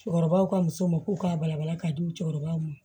Cɛkɔrɔbaw ka musoman ko k'a balabala k'a di musokɔrɔbaw ma